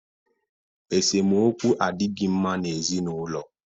Esemokwu adịghị mma na ezinụlọ